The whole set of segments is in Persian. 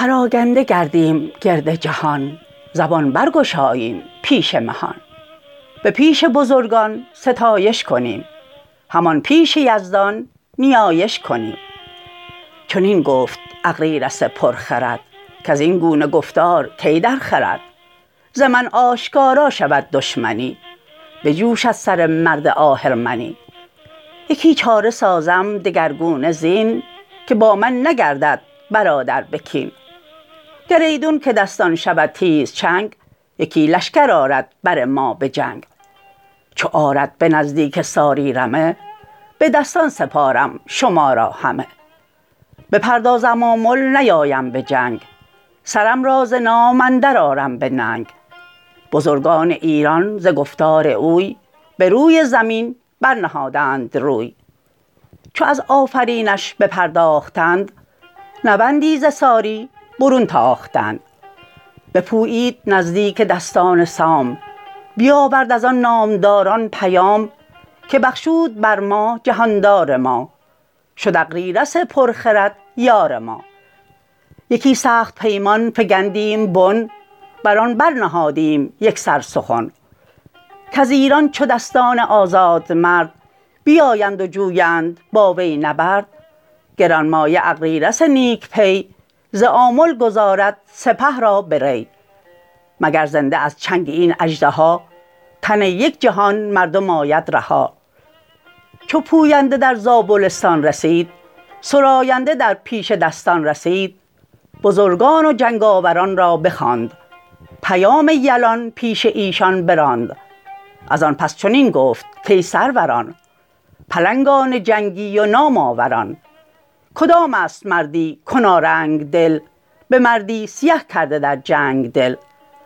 به گستهم و طوس آمد این آگهی که تیره شد آن فر شاهنشهی به شمشیر تیز آن سر تاجدار به زاری بریدند و برگشت کار بکندند موی و شخودند روی از ایران برآمد یکی های وهوی سر سرکشان گشت پرگرد و خاک همه دیده پر خون همه جامه چاک سوی زابلستان نهادند روی زبان شاه گوی و روان شاه جوی بر زال رفتند با سوگ و درد رخان پر ز خون و سران پر ز گرد که زارا دلیرا شها نوذرا گوا تاجدارا مها مهترا نگهبان ایران و شاه جهان سر تاجداران و پشت مهان سرت افسر از خاک جوید همی زمین خون شاهان ببوید همی گیایی که روید بران بوم و بر نگون دارد از شرم خورشید سر همی داد خواهیم و زاری کنیم به خون پدر سوگواری کنیم نشان فریدون بدو زنده بود زمین نعل اسپ ورا بنده بود به زاری و خواری سرش را ز تن بریدند با نامدار انجمن همه تیغ زهرآبگون برکشید به کین جستن آیید و دشمن کشید همانا برین سوگ با ما سپهر ز دیده فرو باردی خون به مهر شما نیز دیده پر از خون کنید همه جامه ناز بیرون کنید که با کین شاهان نشاید که چشم نباشد پر از آب و دل پر ز خشم همه انجمن زار و گریان شدند چو بر آتش تیز بریان شدند زبان داد دستان که تا رستخیز نبیند نیام مرا تیغ تیز چمان چرمه در زیر تخت منست سنان دار نیزه درخت منست رکابست پای مرا جایگاه یکی ترگ تیره سرم را کلاه برین کینه آرامش و خواب نیست همی چون دو چشمم به جوی آب نیست روان چنان شهریار جهان درخشنده بادا میان مهان شما را به داد جهان آفرین دل ارمیده بادا به آیین و دین ز مادر همه مرگ را زاده ایم برینیم و گردن ورا داده ایم چو گردان سوی کینه بشتافتند به ساری سران آگهی یافتند ازیشان بشد خورد و آرام و خواب پر از بیم گشتند از افراسیاب ازان پس به اغریرث آمد پیام که ای پرمنش مهتر نیک نام به گیتی به گفتار تو زنده ایم همه یک به یک مر ترا بنده ایم تو دانی که دستان به زابلستان به جایست با شاه کابلستان چو برزین و چون قارن رزم زن چو خراد و کشواد لشکرشکن یلانند با چنگهای دراز ندارند از ایران چنین دست باز چو تابند گردان ازین سو عنان به چشم اندر آرند نوک سنان ازان تیز گردد رد افراسیاب دلش گردد از بستگان پرشتاب پس آنگه سر یک رمه بی گناه به خاک اندر آرد ز بهر کلاه اگر بیند اغریرث هوشمند مر این بستگان را گشاید ز بند پراگنده گردیم گرد جهان زبان برگشاییم پیش مهان به پیش بزرگان ستایش کنیم همان پیش یزدان نیایش کنیم چنین گفت اغریرث پرخرد کزین گونه گفتار کی درخورد ز من آشکارا شود دشمنی بجوشد سر مرد آهرمنی یکی چاره سازم دگرگونه زین که با من نگردد برادر به کین گر ایدون که دستان شود تیزچنگ یکی لشکر آرد بر ما به جنگ چو آرد به نزدیک ساری رمه به دستان سپارم شما را همه بپردازم آمل نیایم به جنگ سرم را ز نام اندرآرم به ننگ بزرگان ایران ز گفتار اوی بروی زمین برنهادند روی چو از آفرینش بپرداختند نوندی ز ساری برون تاختند بپویید نزدیک دستان سام بیاورد ازان نامداران پیام که بخشود بر ما جهاندار ما شد اغریرث پر خرد یار ما یکی سخت پیمان فگندیم بن بران برنهادیم یکسر سخن کز ایران چو دستان آزادمرد بیایند و جویند با وی نبرد گرانمایه اغریرث نیک پی ز آمل گذارد سپه را به ری مگر زنده از چنگ این اژدها تن یک جهان مردم آید رها چو پوینده در زابلستان رسید سراینده در پیش دستان رسید بزرگان و جنگ آوران را بخواند پیام یلان پیش ایشان براند ازان پس چنین گفت کای سروران پلنگان جنگی و نام آوران کدامست مردی کنارنگ دل به مردی سیه کرده در جنگ دل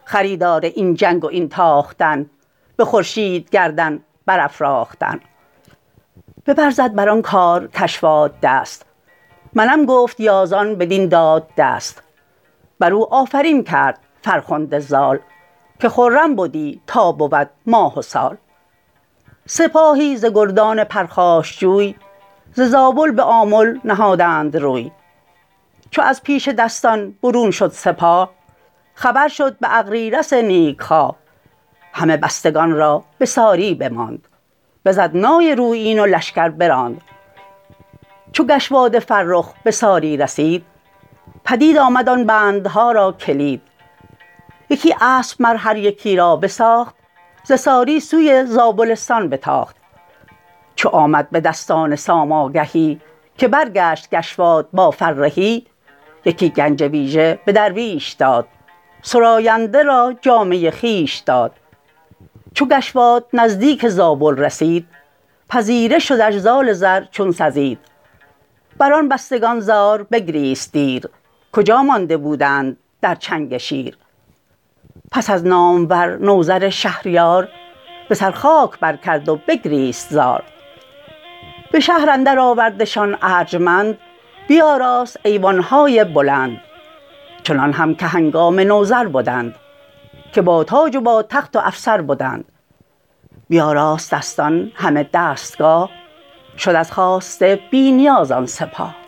خریدار این جنگ و این تاختن به خورشید گردن برافراختن ببر زد بران کار کشواد دست منم گفت یازان بدین داد دست برو آفرین کرد فرخنده زال که خرم بدی تا بود ماه و سال سپاهی ز گردان پرخاشجوی ز زابل به آمل نهادند روی چو از پیش دستان برون شد سپاه خبر شد به اغریرث نیک خواه همه بستگان را به ساری بماند بزد نای رویین و لشکر براند چو گشواد فرخ به ساری رسید پدید آمد آن بندها را کلید یکی اسپ مر هر یکی را بساخت ز ساری سوی زابلستان بتاخت چو آمد به دستان سام آگهی که برگشت گشواد با فرهی یکی گنج ویژه به درویش داد سراینده را جامه خویش داد چو گشواد نزدیک زابل رسید پذیره شدش زال زر چون سزید بران بستگان زار بگریست دیر کجا مانده بودند در چنگ شیر پس از نامور نوذر شهریار به سر خاک بر کرد و بگریست زار به شهر اندر آوردشان ارجمند بیاراست ایوانهای بلند چنان هم که هنگام نوذر بدند که با تاج و با تخت و افسر بدند بیاراست دستان همه دستگاه شد از خواسته بی نیاز آن سپاه